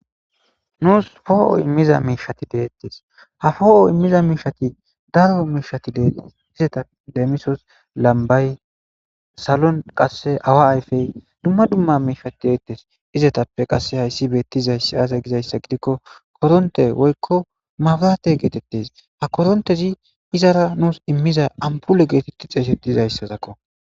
Nuus foo7o immiza miishati deettes ha foo7o immiza miishati daro miishatide izetap deemisos lambay salon qasse awa ayfey dumma dumma miishati deettes izetappe qasse hayssi beettizayss aaze gizayssa gidikko koronte woykko mabrate geetettes ha korontezi izara nuus immiza ampule geetetti xeesetizayssazakko